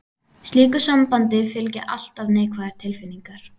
Slíku sambandi fylgja alltaf neikvæðar tilfinningar.